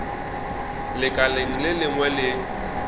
lekaleng le lengwe le le